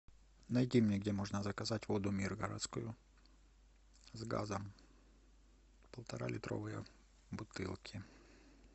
найди мне где можно заказать воду миргородскую с газом полтора литровая бутылки